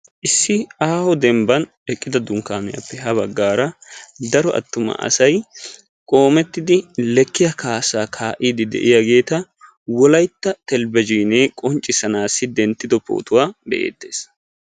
issi aaho demban eqqida dunkaaniyappe ha bagaara daro attuma asay qomettidi lekkiya kaassaa kaa'iidi de'iyaageeta wolaytta televizhiinee qonccisanaassi dentido pootuwaa be'eetees.